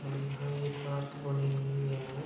और यहां ये पार्क बनी हुई हैं।